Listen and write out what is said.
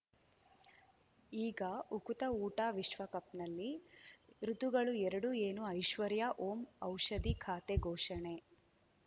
ಈಗ ಉಕುತ ಊಟ ವಿಶ್ವಕಪ್‌ನಲ್ಲಿ ಋತುಗಳು ಎರಡು ಏನು ಐಶ್ವರ್ಯಾ ಓಂ ಔಷಧಿ ಖಾತೆ ಘೋಷಣೆ